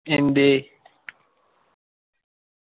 എന്തേ